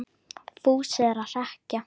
Fúsi er að hrekkja